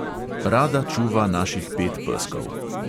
Rada čuva naših pet peskov.